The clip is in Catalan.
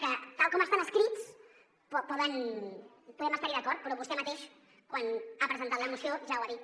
que tal com estan escrits podem estar hi d’acord però vostè mateix quan ha presentat la moció ja ho ha dit